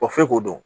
f'e k'o dɔn